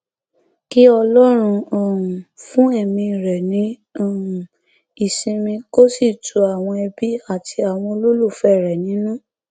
bákan náà ni wọn fi lédè pé àwọn yóò ṣètò iná àbẹlà alẹ láti bu ọlá ìkẹyìn fún olóògbé yìí